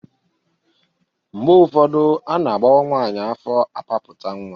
Mgbe ụfọdụ a na-agbọwa nwaanyị afọ apapụta nwa.